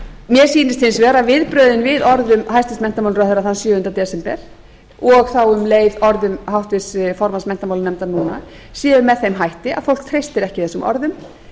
mér sýnist hins vegar að viðbrögðin við orðum hæstvirts menntamálaráðherra þann sjöunda desember og þá um leið orðum háttvirts formanns menntamálanefndar núna séu með þeim hætti að fólk treystir ekki þessum orðum